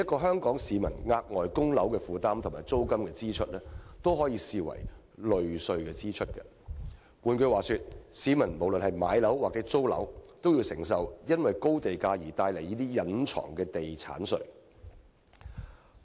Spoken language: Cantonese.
香港市民額外的供樓負擔和租金支出，均可視為"類稅支出"；換言之，不論市民買樓或租樓，均需承受因高地價而帶來的"隱藏地產稅"。